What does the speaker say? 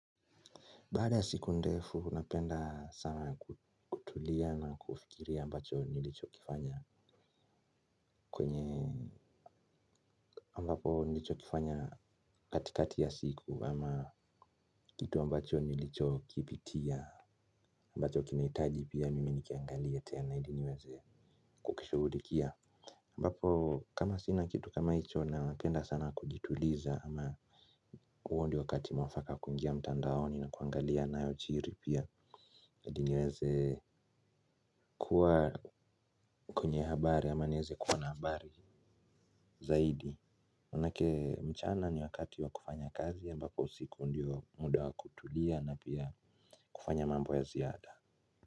Baada ya siku ndefu napenda sana kutulia na kufikiria ambacho nilicho kifanya kwenye ambapo nilicho kifanya katikati ya siku ama kitu ambacho nilicho kipitia ambacho kinahitaji pia mimi nikiangalie tena ili niweze kukishughulikia abbapo kama sina kitu kama hicho napenda sana kujituliza ama huo ndio wakati mwafaka kuingia mtandaoni na kuangalia nayojiri pia hadi niweze kuwa kwenye habari ama niweze kuwa na habari zaidi. Maanake mchana ni wakati wa kufanya kazi, ambapo usiku ndio muda wa kutulia na pia kufanya mambo ya ziada.